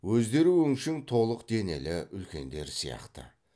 өздері өңшең толық денелі үлкендер сияқты